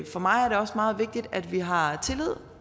for mig er det også meget vigtigt at vi har tillid